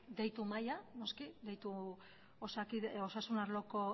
deitu mahaira noski osasun arloko